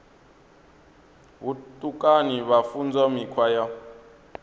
vhutukani vha funzwa mikhwa ya